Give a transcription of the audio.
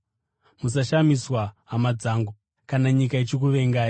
Musashamiswa, hama dzangu, kana nyika ichikuvengai.